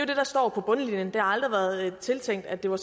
det der står på bundlinjen det har aldrig været tiltænkt at det var